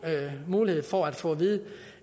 mulighed for at få at vide